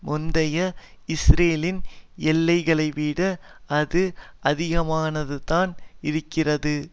முந்தைய இஸ்ரேலின் எல்லைகளைவிட அது அதிகமாகத்தான் இருந்தது